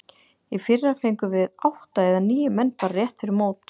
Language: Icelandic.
Í fyrra fengum við átta eða níu menn bara rétt fyrir mót.